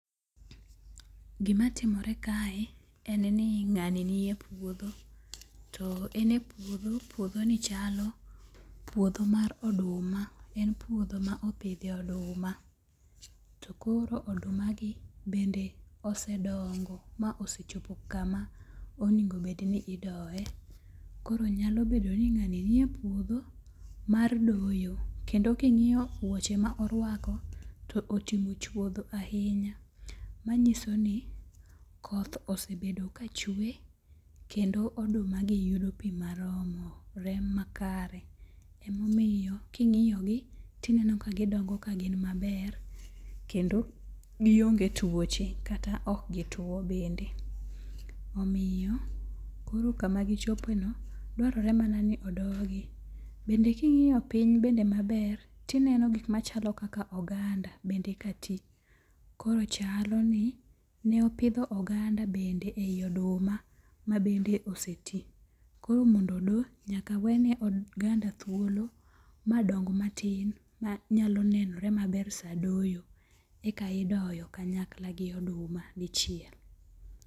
Gimatimore kae en ni ng'ani nie puodho, to en e puodho, puodhoni chalo puodho mar oduma. En puodho ma opidhie oduma. Koro odumagi bende osedongo ma osechopo kama onego obed ni idoye. Koro nyalo bedo ni ng'ani nie puodho mar doyo. Kendo king'iyo wuoche ma orwako, to otimo chwodho ahinya. Manyiso ni koth osebedo kachwe kendo odumagi yudo pi maromore makare ,emomiyo king'iyogi tineno ka gidongo ka gin maber kendo gionge tuoche kata ok gituwo bende. Omiyo koro kama gichopoeni dwarore mana ni odogi. Bende king'iyo piny bende maber, tineno gik machalo kaka oganda bende ka ti . Koro chalo ni ne opidho oganda bende ei oduma mabende oseti. Koro mondo odo, nyaka wene oganda thuolo madong matin ma nyalo nenore maber sa doyo, ek aidoyo kanyakla gi oduma dichiel.